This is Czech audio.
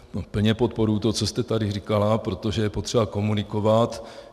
Plně podporuji to, co jste tady říkala, protože je potřeba komunikovat.